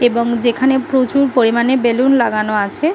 এবং যেখানে প্রচুর পরিমাণে বেলুন লাগানো আছে --